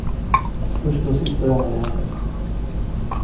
Första och sista gången det hände.